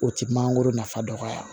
O ti mangoro nafa dɔgɔya